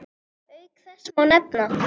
Auk þess má nefna